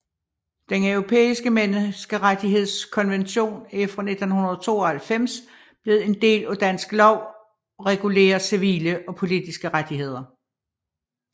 Den Europæiske Menneskerettighedskonvention er fra 1992 blevet en del af dansk lov og regulerer civile og politiske rettigheder